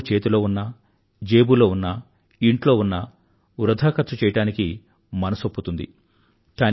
డబ్బు చేతిలో ఉన్నా జేబులో ఉన్నా ఇంట్లో ఉన్నా వృధాఖర్చు చెయ్యడానికి మనసవుతుంది